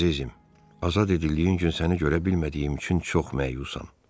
Əzizim, azad edildiyin gün səni görə bilmədiyim üçün çox məyusam.